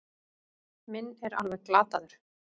Minn er alveg glataður.